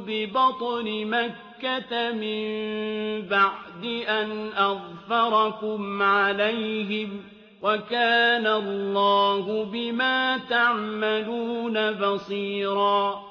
بِبَطْنِ مَكَّةَ مِن بَعْدِ أَنْ أَظْفَرَكُمْ عَلَيْهِمْ ۚ وَكَانَ اللَّهُ بِمَا تَعْمَلُونَ بَصِيرًا